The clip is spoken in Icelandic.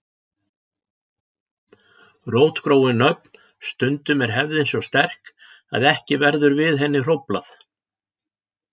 Rótgróin nöfn Stundum er hefðin svo sterk að ekki verður við henni hróflað.